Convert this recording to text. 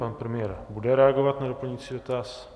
Pan premiér bude reagovat na doplňující dotaz.